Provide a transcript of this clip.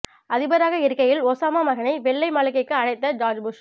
அதிபராக இருக்கையில் ஒசாமா மகனை வெள்ளை மாளிகைக்கு அழைத்த ஜார்ஜ் புஷ்